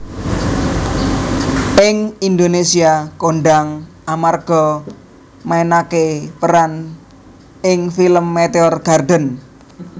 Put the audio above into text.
Ing Indonésia kondhang amarga mainaké peran ing film Meteor Garden